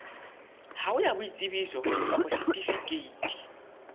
hao ya boitsebiso kapa setifikeiti